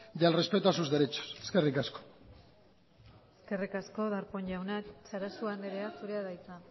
y el respeto a sus derechos eskerrik asko eskerrik asko darpón jauna sarasua andrea zurea da hitza